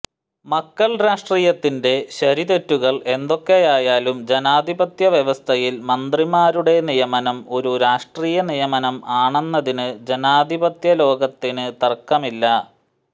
മക്കൾ രാഷ്ട്രീയത്തിന്റെ ശരിതെറ്റുകൾ എന്തൊക്കെയായാലും ജനാധിപത്യ വ്യവസ്ഥയിൽ മന്ത്രിമാരുടെ നിയമനം ഒരു രാഷ്ട്രീയ നിയമനം ആണെന്നതിന് ജനാധിപത്യ ലോകത്തിന് തർക്കമില്ല